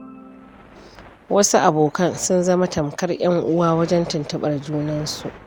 Wasu abokan sun zama tamkar 'yan uwa wajen tuntuɓar junansu.